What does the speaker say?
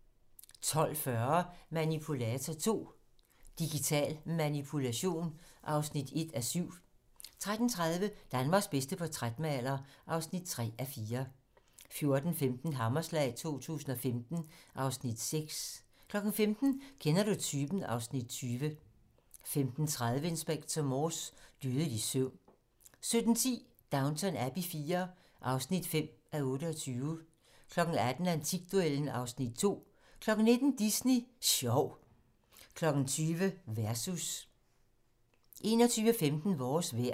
12:40: Manipulator II - Digital Manipulation (1:7) 13:30: Danmarks bedste portrætmaler (3:4) 14:15: Hammerslag 2015 (Afs. 6) 15:00: Kender du typen? (Afs. 20) 15:30: Inspector Morse: Dødelig søvn 17:10: Downton Abbey IV (5:28) 18:00: Antikduellen (Afs. 2) 19:00: Disney Sjov 20:00: Versus 21:15: Vores vejr